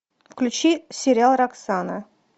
включи сериал роксана